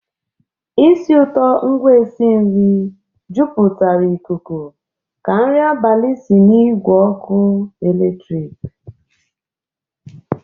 ísì ụtọ ngwa e si nri jupụtara ikuku ka nri abalị si n'igwe ọkụ eletrik.